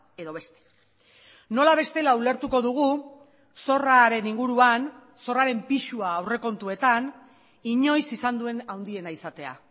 edo beste nola bestela ulertuko dugu zorraren inguruan zorraren pisua aurrekontuetan inoiz izan duen handiena izatea